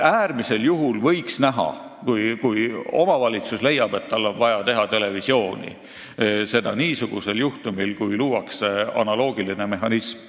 Äärmisel juhul, kui omavalitsus leiab, et tal on vaja teha televisiooni, võiks seda teha niisugusel juhtumil, kui luuakse analoogiline mehhanism.